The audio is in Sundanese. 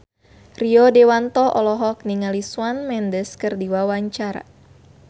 Rio Dewanto olohok ningali Shawn Mendes keur diwawancara